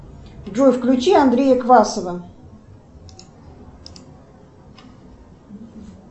джой включи андрея квасова